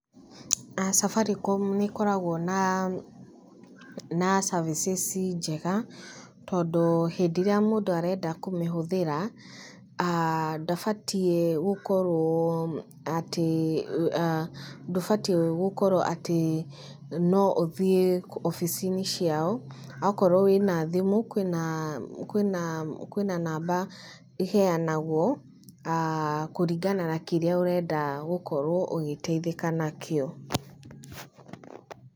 Safaricom nĩ ĩkoragwo na services njega, tondũ hĩndĩ ĩrĩa mũndũ arenda kũmĩhũthĩra, ndũbatiĩ gũkorwo atĩ no ũthiĩ wabici-inĩ ciao, okorwo wĩ na thimũ, kwĩna namba ĩheanagwo, kũringana na kĩrĩa ũrenda gũkorwo ũgĩteithĩka nakĩo.